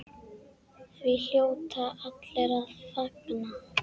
Því hljóta allir að fagna.